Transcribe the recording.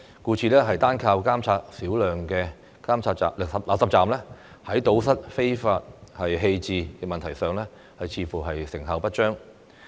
故此，單靠監察少量垃圾站，在堵塞非法棄置問題上，似乎成效不彰。